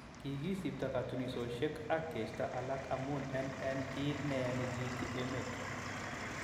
Kigisipto kotunishoshek ak keisto alak amun en en kiit neyaa nekiityi emeet